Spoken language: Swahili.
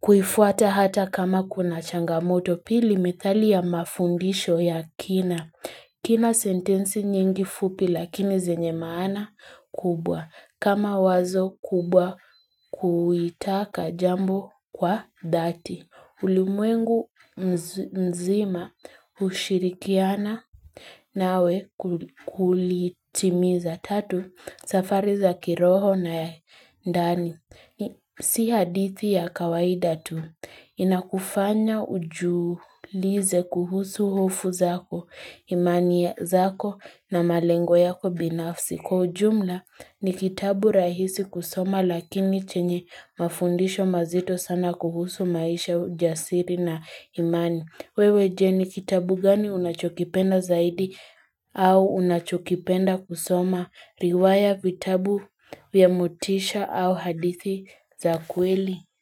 kuifuata hata kama kuna changamoto pili methali ya mafundisho ya kina. Kina sentensi nyingi fupi lakini zenye maana kubwa. Kama wazo kubwa kuitaka jambo kwa dhati. Ulimwengu mzima hushirikiana nawe kulitimiza tatu safari za kiroho na ya ndani. Si hadithi ya kawaida tu. Inakufanya ujiulize kuhusu hofu zako, imani zako na malengo yako binafsi. Kwa ujumla ni kitabu rahisi kusoma lakini chenye mafundisho mazito sana kuhusu maisha ujasiri na imani. Wewe je ni kitabu gani unachokipenda zaidi au unachokipenda kusoma riwaya vitabu vya motisha au hadithi za kweli.